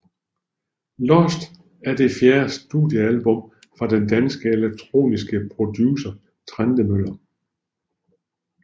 Lost er det fjerde studiealbum fra den danske elektroniske producer Trentemøller